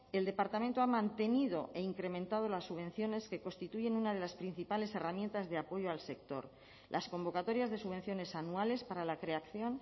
el departamento ha mantenido e incrementado las subvenciones que constituyen una de las principales herramientas de apoyo al sector las convocatorias de subvenciones anuales para la creación